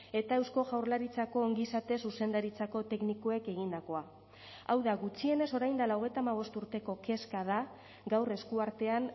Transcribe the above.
eta eusko jaurlaritzako ongizate zuzendaritzako teknikoek egindakoa hau da gutxienez orain dela hogeita hamabost urteko kezka da gaur esku artean